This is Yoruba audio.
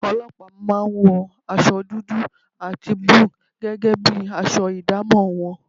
Ọlọ́pàá máa ń wọ aṣọ dúdú àti búlúù gẹ́gẹ́ bí aṣọ ìdámọ̀ wọn